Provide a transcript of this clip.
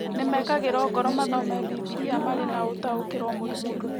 Nĩ mekĩragwo ngoro mathome Bibiria marĩ na ũtaũkĩrwo mũrikĩru.